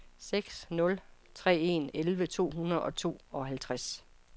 seks nul tre en elleve to hundrede og tooghalvtreds